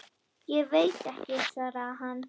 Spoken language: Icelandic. Ég veit ekki, svaraði hann.